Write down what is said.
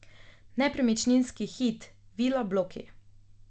Nepremičninski hit, vila bloki.